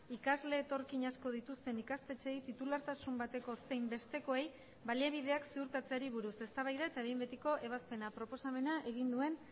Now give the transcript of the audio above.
ikasle etorkin asko dituzten ikastetxeei titulartasun bateko zein bestekoei baliabideak ziurtatzeari buruz eztabaida eta behin betiko ebazpena proposamena egin duen